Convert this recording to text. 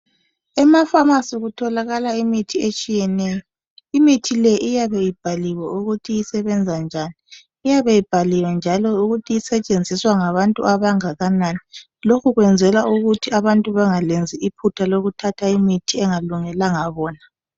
Emafamasi kutholakala imithi etshiyeneyo imithi le iyabe ibhaliwe ukuthi isebenza njani iyabe ibhaliwe njalo ukuthi isetshenziswa ngabantu angakanani lokhu kuyezelwa ukuthi abantu bangaliyezi iphutha lokutha imithi engalungelabona